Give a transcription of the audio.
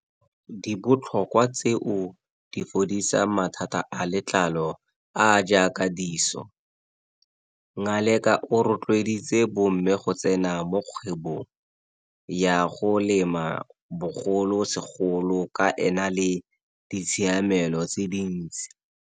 Di botlhokwa tseo di fodisang mathata a letlalo a a jaaka diso. Ngaleka o rotloeditse bomme go tsena mo kgwebong ya go lema bogolosegolo ka e na le ditshiamelo tse dintsi.